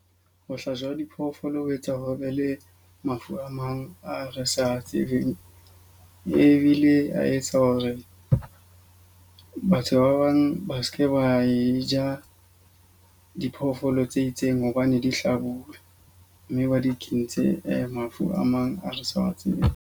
Ho hlajwa ha diphoofolo ho etsa ho be le mafu a mang a re sa tsebeng. Ebile a etsa hore batho ba bang ba seke ba e ja diphoofolo tse itseng hobane di hlabuwe. Mme ba di kentse mafu a mang a re sa a tsebeng.